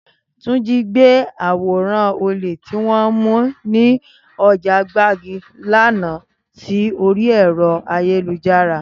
Túnjí gbé àwòrán olè tí wọ́n mú ní ọjà Gbágì lánàá sí orí ẹ̀rọ ayélujára